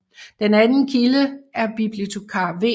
Den anden kilde er bibliotekar V